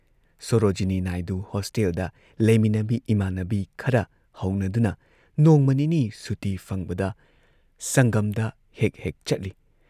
ꯁꯣꯔꯣꯖꯤꯅꯤ ꯅꯥꯏꯗꯨ ꯍꯣꯁꯇꯦꯜꯗ ꯂꯩꯃꯤꯟꯅꯕꯤ ꯏꯃꯥꯟꯅꯕꯤ ꯈꯔ ꯍꯧꯅꯗꯨꯅ ꯅꯣꯡꯃ ꯅꯤꯅꯤ ꯁꯨꯇꯤ ꯐꯪꯕꯗ ꯁꯪꯒꯝꯗ ꯍꯦꯛ ꯍꯦꯛ ꯆꯠꯂꯤ ꯫